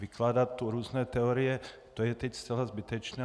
Vykládat tu různé teorie, to je teď zcela zbytečné.